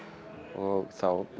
og þá